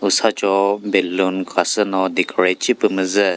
usacho balloon khasü no decorate shipü mü zü.